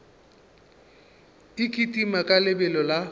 e kitima ka lebelo la